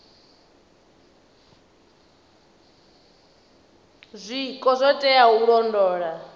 zwiko zwo teaho u londola